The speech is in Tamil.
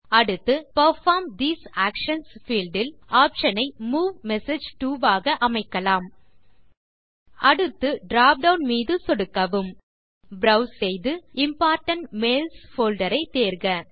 அடுத்து பெர்ஃபார்ம் தேசே ஆக்ஷன்ஸ் பீல்ட் இல் ஆப்ஷன் ஐ மூவ் மெசேஜ் டோ ஆக அமைக்கலாம் அடுத்து drop டவுன் மீது சொடுக்கவும் ப்ரோவ்ஸ் செய்து இம்போர்டன்ட் மெயில்ஸ் போல்டர் ஐ தேர்க